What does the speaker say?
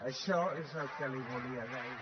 això és el que li volia dir